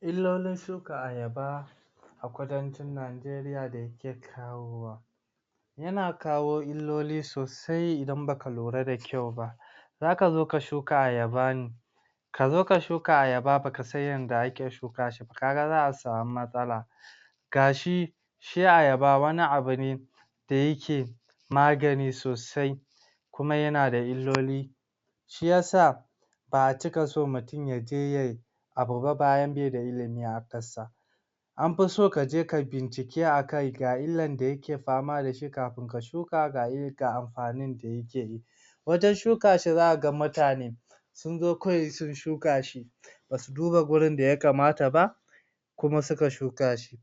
illolin shuka Ayaba a kudancin Nageriya da yake kawo wa yana kawo illoli sosai idan baka lura da kyau ba zaka zo ka shuka Ayaba ne kazo ka shuka Ayaba baka san yadda ake shuka shi ba, kaga za'a sami matsala da shi shi Ayaba wani abu ne da yake magani sosai kuma yana da illoli shiyasa ba'a cika so mutum yaje yayi abu ba bayan bai da ilimi akan sa anfi so kaje kayi bincike akai ga illar da yake fama dashi kafin ka shuka ga il ga amfanin da yake yi wajan shuka shi zaka ga mutane sunzo kawai sun shuka shi basu duba wajan da ya kamata ba kuma suka shuka shi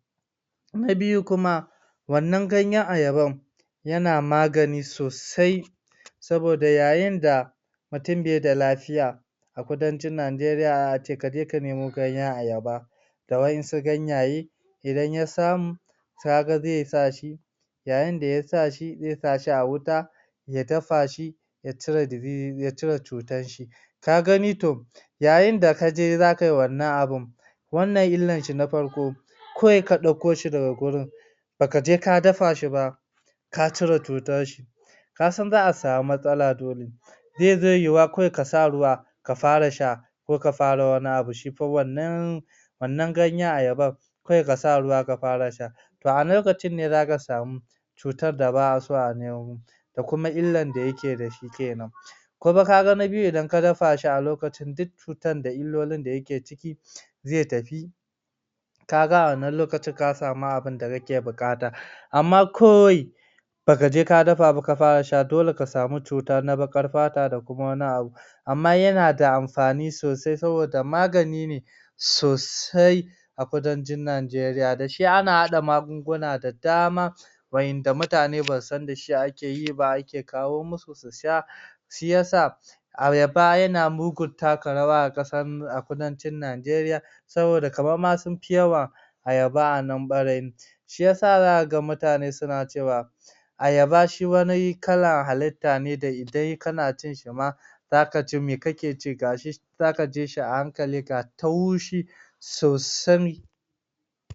na biyu kuma wannan ganyan Ayabar yana magani sosai saboda yayin da mutum bai da lafiya a kudancin Nageria za'a ce kaje ka nemo ganyan Ayaba da waɗansu ganyaye idan ya samu kaga zai sa shi yayin da yasa shi zai sa shi a wuta ya dafa shi ya cire dizi ya cire cutar shi ka gani to yayin da kaje za kayi wannan abun wannan illar shi na farko kawai ka ɗauko shi daga wurin baka je ka dafa shi ba ka cire cutar shi kasan za'a sami matsala dole be zai yiyuwa kawai kasa ruwa ka fara sha ko ka fara wani abu shifa wannan wannan ganyan Ayabar kawai kasa ruwa ka fara sha to a lokacin ne zaka samu cutar da ba'a so a nemo da kuma illar da yake dashi kenan kima kaga na biyu indan ka dafa shi a lokacin duk cutar da illolin da yake ciki zai tafi kaga a wannan lokacin ka sami abunda kake buƙata amma kawai baka je ka dafa ba ka fara sha dole ka sami cuta na baƙar fata da kuma wani abu amma yana da amfani sosai saboda magani sosai a kudancin Nigeriya dashi ana haɗa magunguna da dama wa'yanda mutane basu san dashi ake yi ba ake kawo musu su sha shiyasa Ayaba yana mugun taka rawa a kasar a kudancin Nigeriya saboda kamar ma sufi yawa Ayaba anan ɓarayin shiyasa zaka ga mutane suna cewa Ayaba shi wani kalar halitta ne da indai kana cin sa ma zaka ce me kake ci gashi zaka ci shi a hankali ga taushi sosai